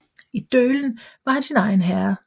I Dølen var han sin egen herre